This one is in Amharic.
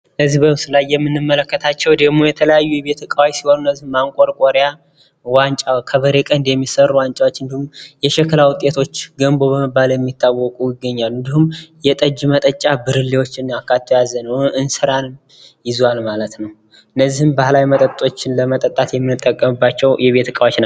በምስሉ ላይ የምንመለከተው ደግሞ የቤት እቃዎች ሲሆኑ ማንቆርቆሪያ ፣ከበሬ ቀንድ የሚሰሩ ዋንጫዎች፣ እንዳሁም የሸክላ ውጤቶች ገንቦ በመባል የሚታወቁ ይገኛሉ። እንዲሁም የጠጅ መጠጫ ብርሌን አካቶ ይዟል ።እንስራ ይገኙበታል። እነዚህ ባህላዊ መጠጦችን ለመጠጣት የምንጠቀምባቸው የቤት እቃዎች ናቸው።